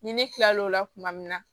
Ni ne kila lo la tuma min na